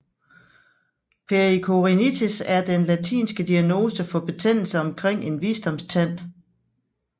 Pericoronitis er den latinske diagnose for betændelse omkring en visdomstand